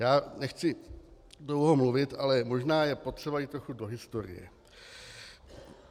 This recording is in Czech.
Já nechci dlouho mluvit, ale možná je potřeba jít trochu do historie.